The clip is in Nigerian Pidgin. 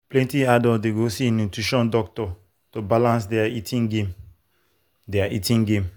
plenty adults dey go see nutrition doctor to balance their eating game. their eating game.